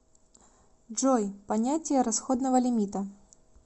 джой понятие расходного лимита